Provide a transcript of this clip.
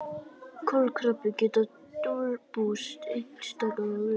Kolkrabbar geta dulbúist einstaklega vel.